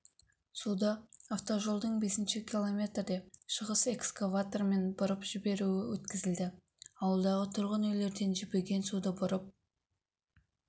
суды автожолдың бесінші километрде шығыс экскаваторымен бұрып жіберуі өткізілді ауылдағы тұрғын үйлерден жібіген суды бұрып